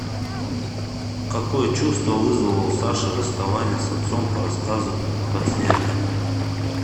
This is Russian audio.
какое чувство вызвало у саши расставание с отцом по рассказу подснежник